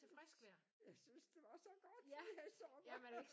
Jeg synes jeg synes det var så godt denne her sommer